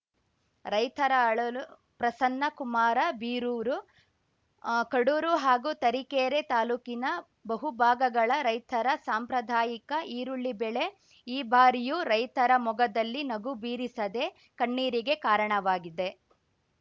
ರೈತರ ಅಳಲು ಪ್ರಸನ್ನ ಕುಮಾರ ಬೀರೂರು ಕಡೂರು ಹಾಗೂ ತರೀಕೆರೆ ತಾಲೂಕಿನ ಬಹು ಭಾಗಗಳ ರೈತರ ಸಾಂಪ್ರದಾಯಿಕ ಈರುಳ್ಳಿ ಬೆಳೆ ಈ ಬಾರಿಯೂ ರೈತರ ಮೊಗದಲ್ಲಿ ನಗು ಬೀರಿಸದೇ ಕಣ್ಣೀರಿಗೆ ಕಾರಣವಾಗಿದೆ